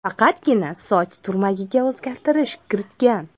Faqatgina soch turmagiga o‘zgartirish kiritgan.